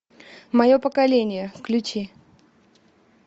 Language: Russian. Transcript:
мое поколение включи